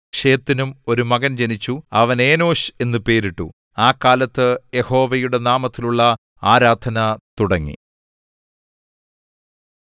ശേത്തിനും ഒരു മകൻ ജനിച്ചു അവന് ഏനോശ് എന്നു പേരിട്ടു ആ കാലത്ത് യഹോവയുടെ നാമത്തിലുള്ള ആരാധന തുടങ്ങി